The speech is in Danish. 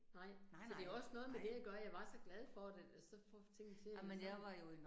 Nej, så det jo også noget med det at gøre, jeg var så glad for det, så få tingene til at så